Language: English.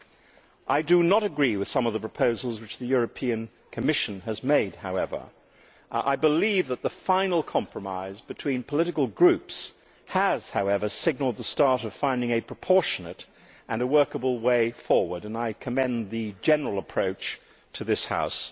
However, I do not agree with some of the proposals which the European Commission has made, although I believe the final compromise between political groups has signalled the start of finding a proportionate and workable way forward, and I commend the general approach of this House.